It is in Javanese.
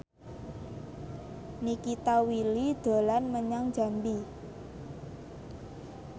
Nikita Willy dolan menyang Jambi